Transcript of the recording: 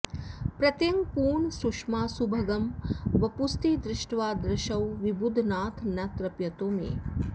प्रत्यङ्गपूर्णसुषमासुभगं वपुस्ते दृष्ट्वा दृशौ विबुधनाथ न तृप्यतो मे